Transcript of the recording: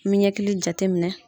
Min ɲɛkili jate minɛ.